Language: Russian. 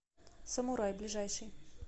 самурай ближайший